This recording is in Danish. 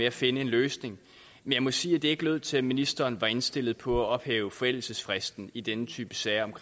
at finde en løsning men jeg må sige at det ikke lød til at ministeren var indstillet på at ophæve forældelsesfristen i denne type sager om